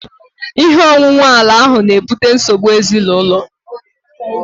Ihe onwunwe ala ahu na-ebute nsogbu ezinaụlọ